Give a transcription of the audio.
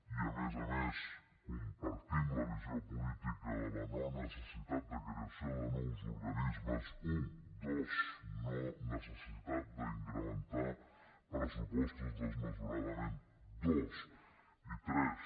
i a més a més compartim la visió política de la no necessitat de creació de nous organismes u dos no necessitat d’incrementar pressupostos desmesuradament i tres